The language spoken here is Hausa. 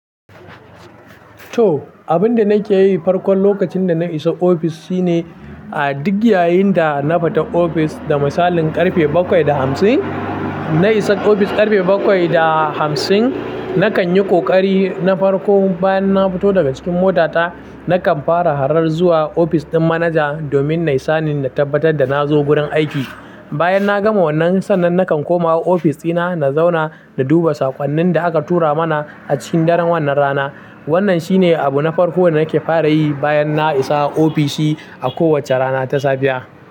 To, abin da nake yi farko lokacin da na isa ofis shine, a duk yayin da na fita ofis da misalin karfe bakwai da hamsin, na isa ofis karfe bakwai da hamsin, na kan yi ƙoƙari na farko bayan na fito daga cikin motata, na kan fara harar zuwa ofis ɗin manaja domin na yi sani na tabbatar da na zo gurin aiki. Bayan na gama wannan, sannan na kan koma ofis ɗina, na zauna na duba saƙonnin da aka tura mana a cikin daren wannan rana. Wannan shine abu na farko da nake fara yi bayan na isa ofishi a kowace rana ta safiya.